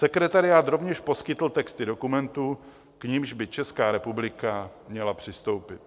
Sekretariát rovněž poskytl texty dokumentů, k nimž by Česká republika měla přistoupit.